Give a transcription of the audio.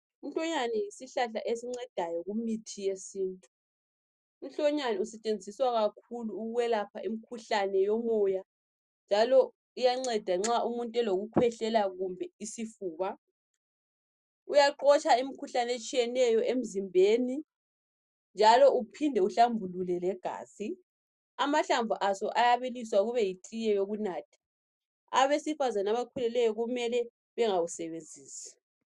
Uhlonyane yisihlahla esincedayo kumithi yesintu uhlonyane usetshenziswa kakhulu ukwelapha imikhuhlane yomoya njalo uyanceda nxa umuntu elokukhwehlela kumbe isifuba uyaxotsha imikhuhlane etshiyeneyo emizimbeni njalo kuphinde kuhlambulule legazi amahlamvu aso ayabiliswa kube yi tiye yokunatha abesifazane abakhulelweyo kumele bangawusebenzisi.